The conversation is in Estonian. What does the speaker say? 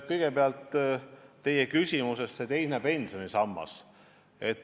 Kõigepealt, see teine pensionisammas.